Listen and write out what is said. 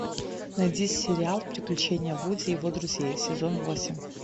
найди сериал приключения вуди и его друзей сезон восемь